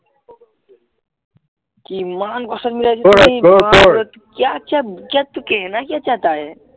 কিমান কস্টত মিলাইছো कक्य़ा क्य़ा तु कहना क्य़ा चाहता है